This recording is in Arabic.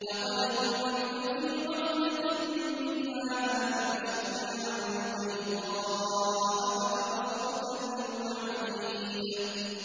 لَّقَدْ كُنتَ فِي غَفْلَةٍ مِّنْ هَٰذَا فَكَشَفْنَا عَنكَ غِطَاءَكَ فَبَصَرُكَ الْيَوْمَ حَدِيدٌ